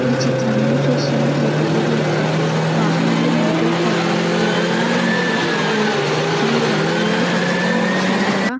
ఈ చిత్రంలో చూస్తున్నట్టయితే ఇది వాహనాలు నిలిపే స్థలము ఈ వాహనాలు నిలిపి స్థలంలో మూడు వాహనాలు పక్కగా నిలిచి ఉండగా --